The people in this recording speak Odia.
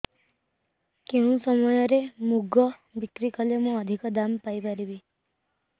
କେଉଁ ସମୟରେ ମୁଗ ବିକ୍ରି କଲେ ମୁଁ ଅଧିକ ଦାମ୍ ପାଇ ପାରିବି